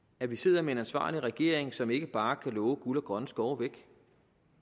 at vi sidder med en ansvarlig regering som ikke bare kan love guld og grønne skove